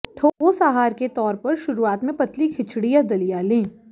ठोस आहार के तौर पर शुरुआत में पतली खिचड़ी या दलिया लें